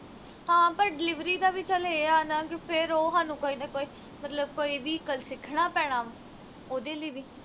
ਹਾਂ but delivery ਦਾ ਵੀ ਚੱਲ ਇਹ ਆ ਨਾ ਫਿਰ ਉਹ ਹਾਨੂੰ ਕੋਈ ਨਾ ਕੋਈ ਮਤਲਬ ਕੋਈ vehicle ਸਿੱਖਣਾ ਪੈਣਾ ਉਹਦੇ ਲਈ ਵੀ